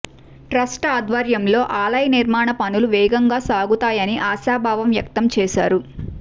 trust ఆధ్వర్యంలో ఆలయ నిర్మాణ పనులు వేగంగా సాగుతాయని ఆశాభావం వ్యక్తం చేశారు